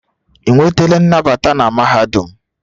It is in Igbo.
Ị nwetala nnabata na mahadum?